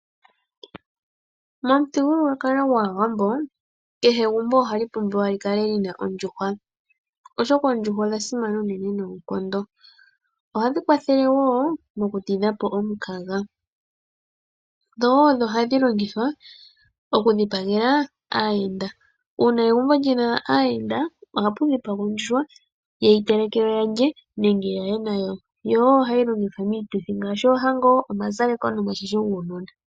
Momuthigululwakalo gwaawambo kehe egumbo ohali pumbiwa li kale lina ondjuhwa oshoka oondjuhwa odhili dha simana unene noonkondo. Ohadhi kwathele woo oku ti dhapo omukaga , dho ohadhi longithwa okudhipagela aayenda. Uuna egumbo lina aayenda ohapu dhipagwa ondjuhwa yeyi telekelwe ya lye nenge yaye na wo . Ohayi longithwa woo miituthi ngaashi oohango, omazaleko nomashasho guunona.